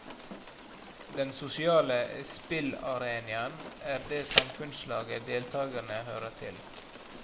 Den sosiale spillarenaen er det samfunnslaget deltagerene hører til.